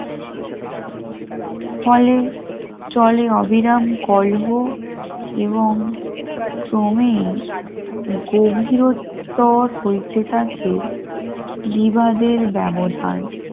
ফলে চলে অবিরাম কলহ এবং ক্রমে গভীরতার হইতে থাকে বিবাদের ব্যবধান